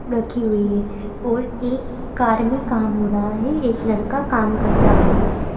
रखी हुई है और एक कार में काम हो रहा है एक लड़का काम कर रहा है।